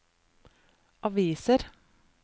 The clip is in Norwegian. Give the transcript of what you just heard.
aviser